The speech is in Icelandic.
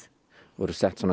voru sett svona